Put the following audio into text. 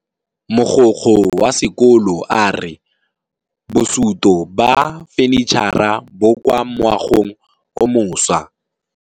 Mogokgo wa sekolo a re bosutô ba fanitšhara bo kwa moagong o mošwa.